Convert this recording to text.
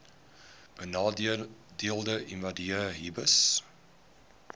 benadeelde individue hbis